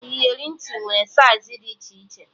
Iyeri ntị nwere saiz dị iche iche